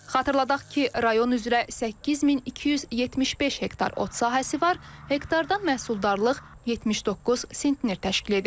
Xatırladaq ki, rayon üzrə 8275 hektar ot sahəsi var, hektardan məhsuldarlıq 79 sentiner təşkil edir.